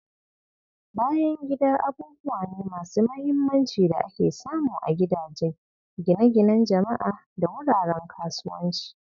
Bayan gida abubuwa ne masu mahimmanci da ake samu a gidaje, gine-ginen jama'a, da wuraren kasuwanci.